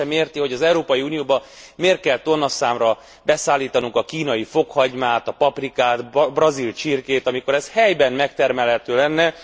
Senki sem érti, hogy az Európai Unióba miért kell tonnaszámra beszállítanunk a kínai fokhagymát, a paprikát, a brazil csirkét, amikor ez helyben megtermelhető lenne.